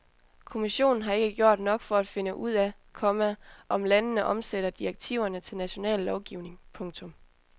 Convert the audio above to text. Kommissionen har ikke gjort nok for at finde ud af, komma om landene omsætter direktiverne til national lovgivning. punktum